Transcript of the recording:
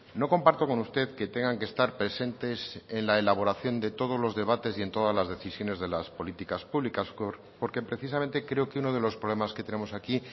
no comparto con usted que tengan que estar presentes en la elaboración de todos los debates y en todas las decisiones de las políticas públicas porque precisamente creo que uno de los problemas que tenemos aquí